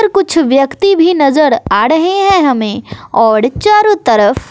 कुछ व्यक्ति भी नजर आ रहे हैं हमें और चारों तरफ--